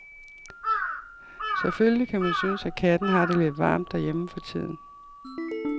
Selvfølgelig kan man synes, at katten har det lidt varmt derhjemme for tiden.